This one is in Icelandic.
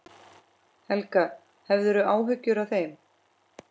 Helga: Hefurðu áhyggjur af þeim?